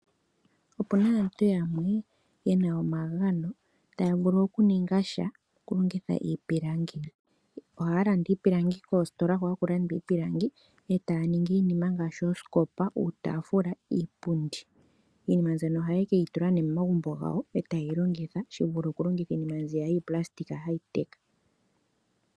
Opuna aantu yamwe, ye na omagano. Taa vulu okuninga sha, okulongitha iipilangi. Oha ya landa iipilangi koositola hoka haku landwa iipilangi ee ta ningi iinima ngaashi oosikopa, uutafula, iipundi. Iinima mbyoka oha ya keyi tula nee momagumbo gawo, ee taa yilongitha shi vule oku longitha iinima mbiya yii palasitika ha yi teka.